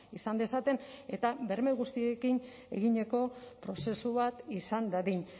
izan dezaten eta berme guztiekin egindako prozesu bat izan dadin